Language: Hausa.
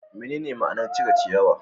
Menene ma'anar cire ciyawa?